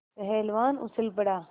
पहलवान उछल पड़ा